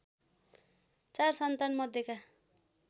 ४ सन्तान मध्येका